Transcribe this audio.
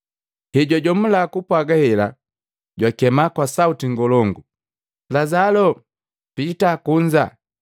Hejwajomula kupwaga hela, jwakema kwa sauti ngolongu, “Lazaloo! Piita kunza!”